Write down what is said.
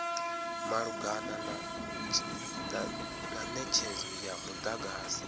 malugana na netshedzo ya mudagasi